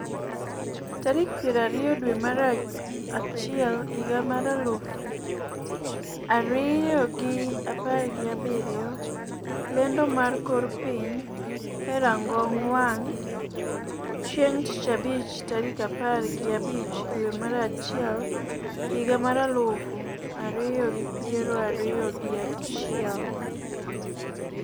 tarik piero ariyo dwe mar achiel higa mar aluf ariyo gi apar gi abiriyo. lendo mar kor piny e rang'ong wang' chieng' tich abich tarik apar gi abich dwe mar achiel higa mar aluf ariyo gi piero ariyo gi achiel